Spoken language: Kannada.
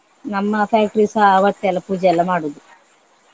ನಮ್ಮ factory ಸ ಅವತ್ತೆ ಎಲ್ಲ ಪೂಜೆ ಎಲ್ಲ ಮಾಡುದು.